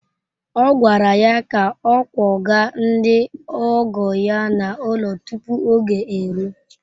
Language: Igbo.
A gwara ya ka ọ kwọga ndị ọgọ ya n’ụlọ tupu oge eruo!